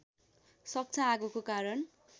सक्छ आगोको कारण